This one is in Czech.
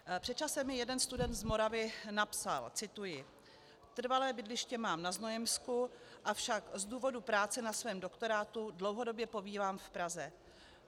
Před časem mi jeden student z Moravy napsal - cituji: "Trvalé bydliště mám na Znojemsku, avšak z důvodu práce na svém doktorátu dlouhodobě pobývám v Praze.